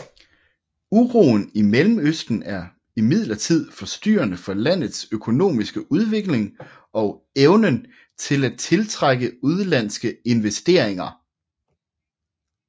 Uroen i Mellemøsten er imidlertid forstyrrende for landets økonomiske udvikling og evnen til at tiltrække udenlandske investeringer